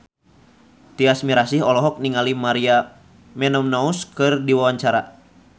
Tyas Mirasih olohok ningali Maria Menounos keur diwawancara